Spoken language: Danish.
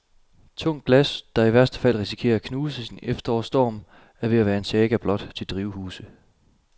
Tungt glas, der i værste fald risikerer at knuses i en efterårsstorm, er ved at være en saga blot til drivhuse.